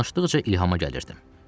Danışdıqca ilhama gəlirdim.